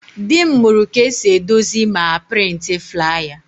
Dị m mụrụ ka esi edozi ma a prịntị flaya